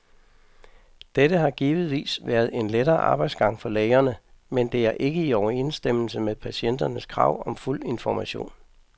Dette har givetvis været en lettere arbejdsgang for lægerne, men det er ikke i overensstemmelse med patienternes krav om fuld information.